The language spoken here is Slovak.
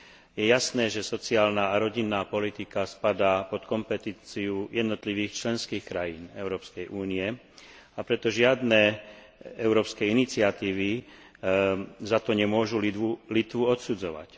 Je jasné, že sociálna a rodinná politika spadá pod kompetenciu jednotlivých členských krajín Európskej únie, a preto žiadne európske iniciatívy za to nemôžu Litvu odsudzovať.